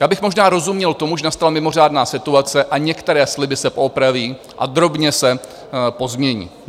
Já bych možná rozuměl tomu, že nastala mimořádná situace a některé sliby se poopraví a drobně se pozmění.